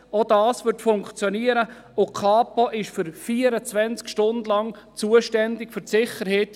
Auch das würde funktionieren, und die Kantonspolizei wäre während 24 Stunden zuständig für die Sicherheit.